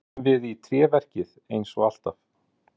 Skutum við í tréverkið eins og alltaf?